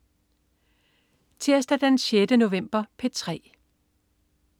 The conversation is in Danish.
Tirsdag den 6. november - P3: